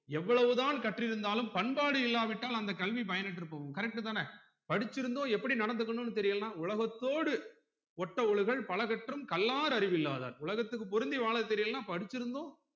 எவ்ளோவு தான் கற்றி இருந்தாலும் பண்பாடு இல்லாவிட்டால் அந்த கல்வி பயனற்று போகும் correct தான படிச்சி இருந்தும் எப்படி நடந்துக்களனா தெரியலனா உலகத்தோடு ஒட்ட ஒழுகல் பல கற்றும் கல்லார் அறிவில்லாதார் உலகத்துக்கு பொருந்தி வாழ தெரியலனா படிச்சிருந்தும்